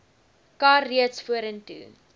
kar reeds vorentoe